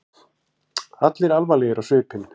Allir alvarlegir á svipinn.